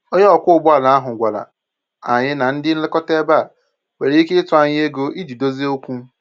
Onye ọkwọ ụgbọala ahụ gwàrà anyị na ndị nlekọta ebe a nwere ike ịtụ anya ego iji dozie okwu